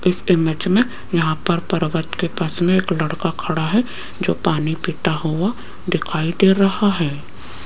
इस इमेज में यहां पर पर्वत के पास में एक लड़का खड़ा है जो पानी पीता हुआ दिखाई दे रहा है।